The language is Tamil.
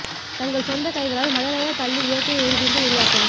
தங்கள் சொந்த கைகளால் மழலையர் பள்ளி இயற்கை ஒரு துண்டு உருவாக்கவும்